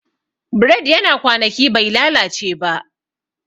Bread yana kwanaki bai lalace ba